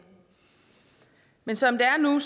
men som det er nu